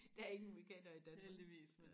der er ingen vulkaner i Danmark